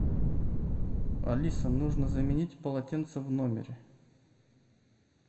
алиса нужно заменить полотенца в номере